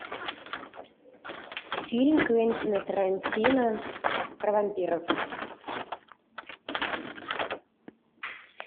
фильм квентина тарантино про вампиров